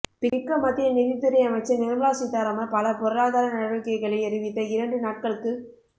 பிக்க மத்திய நிதித்துறை அமைச்சர் நிர்மலா சிதாராமன் பல பொருளாதார நடவடிக்கைகளை அறிவித்த இரண்டு நாட்களுக்குப்